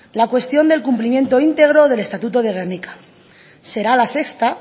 la cuestión del cumplimiento íntegro del estatuto de gernika será la sexta